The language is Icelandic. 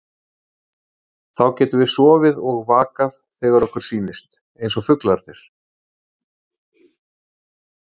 Þá getum við sofið og vakað þegar okkur sýnist, eins og fuglarnir.